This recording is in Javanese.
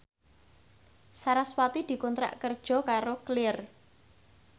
sarasvati dikontrak kerja karo Clear